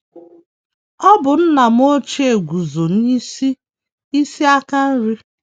Ọ bụ nna m ochie guzo n’isi isi aka nri.